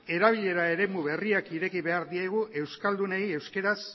erabilera eremu berriak ireki behar diegu euskaldunei euskaraz